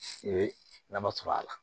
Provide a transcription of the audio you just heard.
I bɛ nafa sɔrɔ a la